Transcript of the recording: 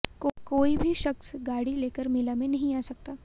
कोई भी शख्स गाड़ी लेकर मेला में नहीं आ सकता